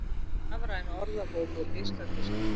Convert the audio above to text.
Rafræn orðabók á geisladiski